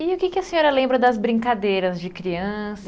E o que que a senhora lembra das brincadeiras de criança?